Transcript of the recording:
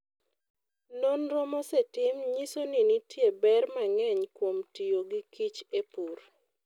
Nonro mosetim nyiso ni nitie ber mang'eny kuom tiyo gikich e pur.